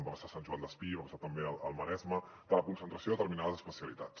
va passar a sant joan despí va passar també al maresme de la concentració de determinades especialitats